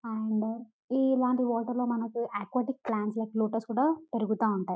and ఇలాంటి హోటల్లో aquatic plants like lotus కూడా పెరుగుట ఉంటాయి --